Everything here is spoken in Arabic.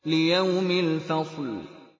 لِيَوْمِ الْفَصْلِ